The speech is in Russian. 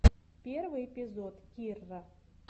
первый эпизод кирра